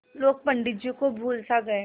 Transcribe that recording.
लोग पंडित जी को भूल सा गये